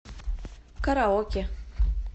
караоке